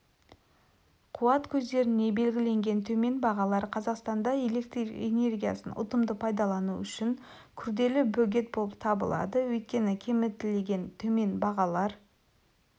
қуат көздеріне белгіленген төмен бағалар қазақстанда электр энергиясын ұтымды пайдалану үшін күрделі бөгет болып табылады өйткені кемітілген төмен бағалар